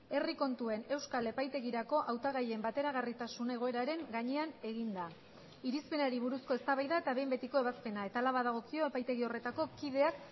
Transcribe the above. herri kontuen euskal epaitegirako hautagaien bateragarritasun egoeraren gainean eginda irizpenari buruzko eztabaida eta behin betiko ebazpena eta hala badagokio epaitegi horretako kideak